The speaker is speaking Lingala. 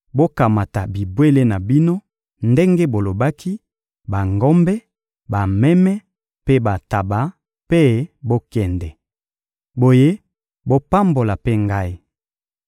Bokamata bibwele na bino ndenge bolobaki: bangombe, bameme mpe bantaba; mpe bokende. Boye, bopambola mpe ngai.»